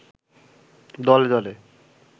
দলে দলে